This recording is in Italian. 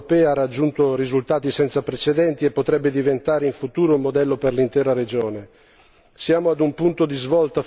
Il dialogo, facilitato dall'Unione europea, ha raggiunto risultati senza precedenti e potrebbe diventare in futuro un modello per l'intera regione.